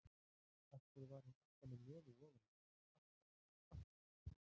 Af hverju var hún alltaf með nefið ofan í mér, alltaf, alltaf.